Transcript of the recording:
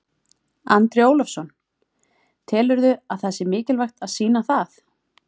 Andri Ólafsson: Telurðu að það sé mikilvægt að sýna það?